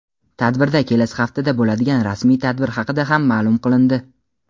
Tadbirda kelasi haftada bo‘ladigan rasmiy tadbir haqida ham ma’lum qilindi.